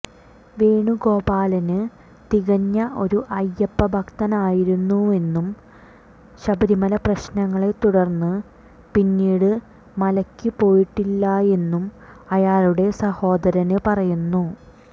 വേണുഗോപാലന് തികഞ്ഞ ഒരു അയ്യപ്പഭക്തനായിരുന്നുവെന്നും ശബരിമല പ്രശ്നങ്ങളെത്തുടര്ന്ന് പിന്നീട് മലയ്ക്കു പോയിട്ടില്ലായെന്നും അയാളുടെ സഹോദരന് പറയുന്നു